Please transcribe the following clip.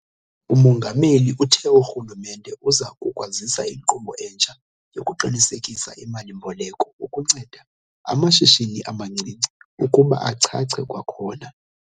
UMongameli uthe urhulumente uza kukwazisa inkqubo entsha yokuqinisekisa imali-mboleko ukunceda amashishini amancinci ukuba achache kwakhona.